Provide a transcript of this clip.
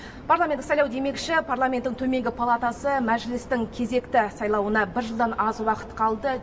парламенттік сайлау демекші парламенттің төменгі палатасы мәжілістің кезекті сайлауына бір жылдан аз уақыт қалды